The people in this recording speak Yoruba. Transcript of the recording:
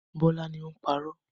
Bọ́lá ni ó ń parọ́.